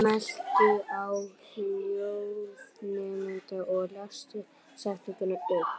Halli jarðlaga er rissaður inn með daufum línum.